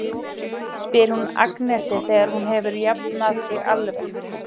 spyr hún Agnesi þegar hún hefur jafnað sig alveg.